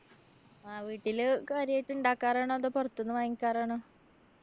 ആ വീട്ടില് കാര്യായിട്ട് ഇണ്ടാക്കാറാണോ? അതോ പൊറത്തുന്ന് വാങ്ങിക്കാറാണോ?